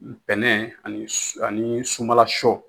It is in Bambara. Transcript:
Bɛnɛ ani su ani sunbala sɔ